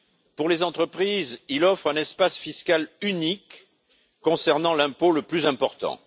Pour les entreprises, il offre un espace fiscal unique concernant l'impôt le plus important.